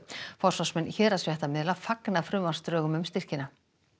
forsvarsmenn héraðsfréttamiðla fagna frumvarpsdrögum um styrkina